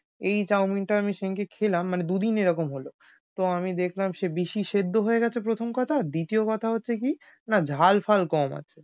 এই chow-mein আমি সেদিনকে খেলাম মানে দুদিন এরকম হল। তো আমি দেখলাম সে বেশি সেদ্ধ হয়ে গেছে প্রথম কথা আর দ্বিতীয় কথা হচ্ছে কি না ঝাল ফাল কম আছে।